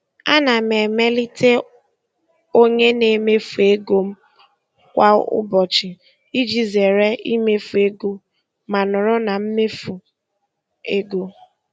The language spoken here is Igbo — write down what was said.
Ana m emelite onye na-emefu ego m kwa ụbọchị iji zere imefu ego ma nọrọ na mmefu ego.